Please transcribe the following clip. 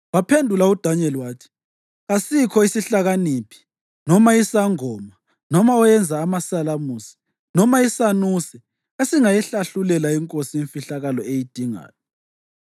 Waphendula uDanyeli wathi, “Kasikho isihlakaniphi, noma isangoma, noma oyenza amasalamusi, noma isanuse esingayihlahlulela inkosi imfihlakalo eyidingayo,